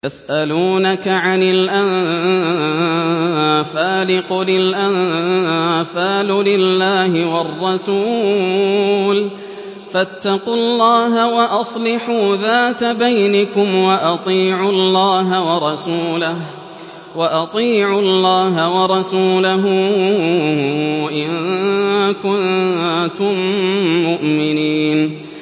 يَسْأَلُونَكَ عَنِ الْأَنفَالِ ۖ قُلِ الْأَنفَالُ لِلَّهِ وَالرَّسُولِ ۖ فَاتَّقُوا اللَّهَ وَأَصْلِحُوا ذَاتَ بَيْنِكُمْ ۖ وَأَطِيعُوا اللَّهَ وَرَسُولَهُ إِن كُنتُم مُّؤْمِنِينَ